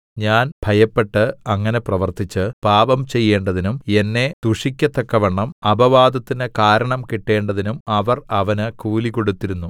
ഞാൻ ഭയപ്പെട്ട് അങ്ങനെ പ്രവർത്തിച്ച് പാപം ചെയ്യേണ്ടതിനും എന്നെ ദുഷിക്കത്തക്കവണ്ണം അപവാദത്തിന് കാരണം കിട്ടേണ്ടതിനും അവർ അവന് കൂലികൊടുത്തിരുന്നു